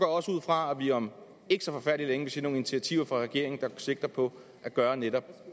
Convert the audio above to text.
også ud fra at vi om ikke så forfærdelig længe vil se nogle initiativer fra regeringen der sigter på at gøre netop